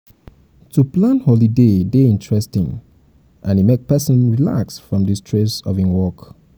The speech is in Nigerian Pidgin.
we go make sure sey enough water wey pipo go drink dey.